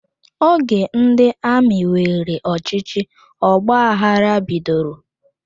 Oge ndị amị weere ọchịchị, ọgbaghara bidoro